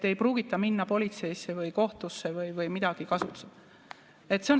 Ei pruugita minna politseisse või kohtusse või midagi kasutusele võtta.